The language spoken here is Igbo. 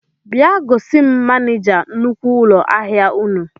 Bịa gosim manija nnukwu ụlọ ahịa ụnụ